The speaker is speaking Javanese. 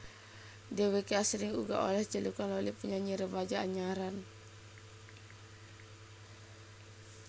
Dhèwèké asring uga olèh celukan Loli penyanyi remaja anyaran